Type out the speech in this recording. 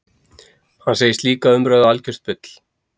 Hann segir slíka umræðu algjört bull